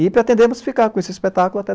E pretendemos ficar com esse espetáculo até